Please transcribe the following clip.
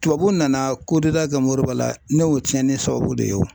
Tubabu nana kɛ Modiba la, ne y'o cɛnni sababu de ye o